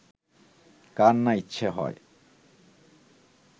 কার না ইচ্ছা হয়